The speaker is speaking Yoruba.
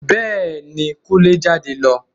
Bẹ́ẹ̀ ni, Kúnlé ń jáde lọ